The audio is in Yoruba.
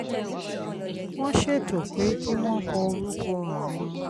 Won seto pe ki won ko oruko awon